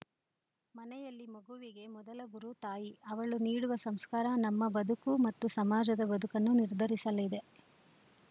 ಮನೆಯಲ್ಲಿ ಮಗುವಿಗೆ ಮೊದಲ ಗುರು ತಾಯಿ ಅವಳು ನೀಡುವ ಸಂಸ್ಕಾರ ನಮ್ಮ ಬದುಕು ಮತ್ತು ಸಮಾಜದ ಬದುಕನ್ನು ನಿರ್ಧರಿಸಲಿದೆ